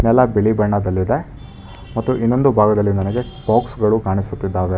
ಎಲ್ಲಾ ಬಿಳಿ ಬಣ್ಣದಲ್ಲಿದೆ ಮತ್ತು ಇನ್ನೊಂದು ಭಾಗದಲ್ಲಿ ನನಗೆ ಬಾಕ್ಸ್ ಗಳು ಕಾಣಿಸುತ್ತಿದ್ದಾವೆ.